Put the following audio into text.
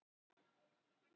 Hún var ein heima.